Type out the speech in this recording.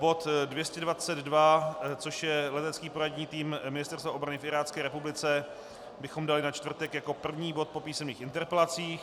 Bod 222, což je Letecký poradní tým Ministerstva obrany v Irácké republice, bychom dali na čtvrtek jako první bod po písemných interpelacích.